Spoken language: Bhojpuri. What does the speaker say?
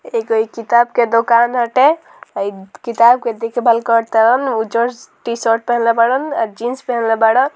एगो इ किताब के दुकान हटे इ किताब के देखभाल करा तारन उजर टी-शर्ट पहनला बाड़न आ जीन्स पहनला बाड़न।